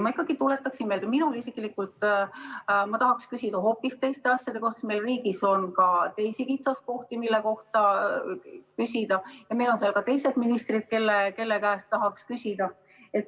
Ma tuletan aga meelde, et meil on riigis ka teisi kitsaskohti, mille kohta tahaks küsida, ja meil on infotunnis ka teised ministrid, kelle käest tahaks küsida.